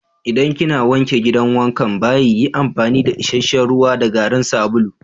Idan kina wanke gidan wankan/bayi yi amfani da isheshe'n ruwa da garin sabulu.